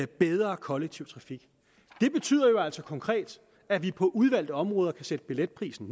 bedre kollektiv trafik det betyder altså konkret at vi på udvalgte områder kan sætte billetprisen